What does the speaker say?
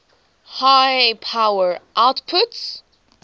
high power outputs